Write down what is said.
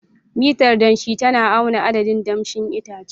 Mitar danshi tana auna adadin damshin itace.